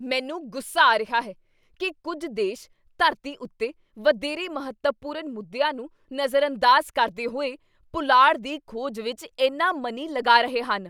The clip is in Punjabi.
ਮੈਨੂੰ ਗੁੱਸਾ ਆ ਰਿਹਾ ਹੈ ਕੀ ਕੁੱਝ ਦੇਸ਼ ਧਰਤੀ ਉੱਤੇ ਵਧੇਰੇ ਮਹੱਤਵਪੂਰਨ ਮੁੱਦਿਆਂ ਨੂੰ ਨਜ਼ਰਅੰਦਾਜ਼ ਕਰਦੇ ਹੋਏ ਪੁਲਾੜ ਦੀ ਖੋਜ ਵਿੱਚ ਇੰਨਾ ਮਨੀ ਲਗਾ ਰਹੇ ਹਨ।